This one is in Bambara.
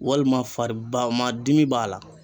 Walima fari ba ma dimi b'a la